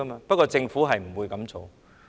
不過，政府不會這樣做。